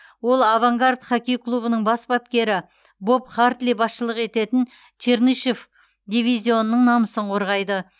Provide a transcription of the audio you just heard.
ол авангард хоккей клубының бас бапкері боб хартли басшылық ететін чернышев дивизионының намысын қорғайды